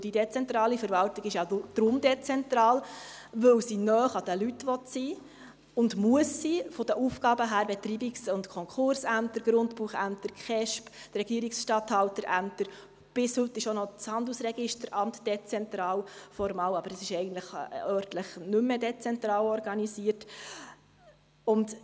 Denn die dezentrale Verwaltung ist ja darum dezentral, weil sie von den Aufgaben her nahe an den Leuten sein will und muss: Betreibungs- und Konkursämter, Grundbuchämter, KESB, Regierungsstatthalterämter, und bis heute ist auch noch das Handelsregisteramt formal dezentral, obwohl es eigentlich örtlich nicht mehr dezentral organisiert ist.